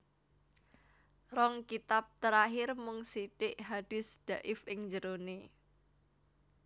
Rong kitab terakhir mung sithik hadis dhaif ing jerone